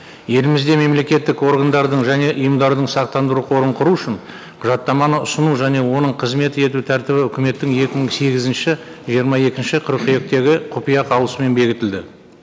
елімізде мемлекеттік органдардың және ұйымдардың сақтандыру қорын құру үшін құжаттаманы ұсыну және оның қызмет ету тәртібі үкіметтің екі мың сегізінші жиырма екінші қыркүйектегі құпия қаулысымен бекітілді